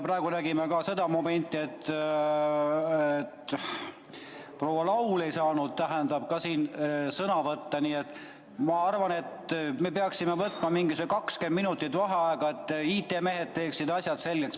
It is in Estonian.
Praegu nägime ka seda momenti, et proua Laul ei saanud sõna võtta, nii et ma arvan, et me peaksime võtma mingi 20 minutit vaheaega, et IT-mehed teeksid asjad selgeks.